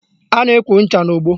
A na-ekwo ncha n'ogbo